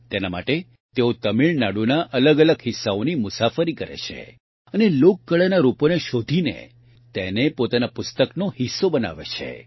તેના માટે તેઓ તમિળનાડુના અલગઅલગ હિસ્સાઓની મુસાફરી કરે છે અને લોકકળાના રૂપોને શોધીને તેને પોતાના પુસ્તકનો હિસ્સો બનાવે છે